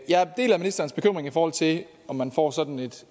jeg deler ministerens bekymring i forhold til om man får sådan